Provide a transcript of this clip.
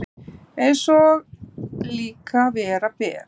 Eins og líka vera ber.